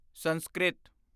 Sanskrit